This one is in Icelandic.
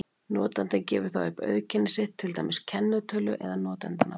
Notandinn gefur þá upp auðkenni sitt, til dæmis kennitölu eða notandanafn.